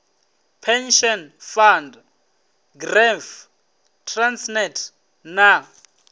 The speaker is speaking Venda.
pension fund gepf transnet na